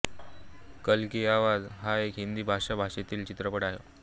कल की आवाज़ हा एक हिंदी भाषा भाषेतील चित्रपट आहे